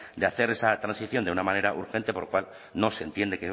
de hacer esa transición de una manera urgente por lo cual no se entiende